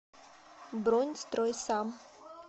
бронь стройсам